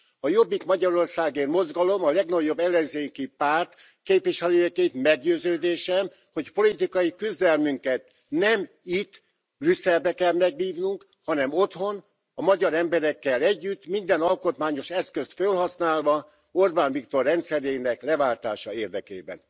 A Jobbik Magyarországért Mozgalom, a legnagyobb ellenzéki párt képviselőjeként meggyőződésem, hogy politikai küzdelmünket nem itt, Brüsszelben kell megvívnunk, hanem otthon, a magyar emberekkel együtt, minden alkotmányos eszközt felhasználva Orbán Viktor rendszerének leváltása érdekében.